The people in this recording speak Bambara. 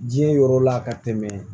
Diɲɛ yɔrɔ la ka tɛmɛ